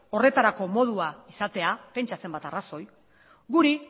horretarako modua izatea pentsa zenbat arrazoi guri